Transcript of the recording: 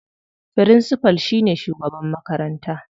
Firincifal shine shugaban makaranta.